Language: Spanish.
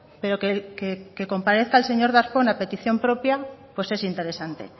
pero que comparezca el señor darpón a petición propia pues es interesante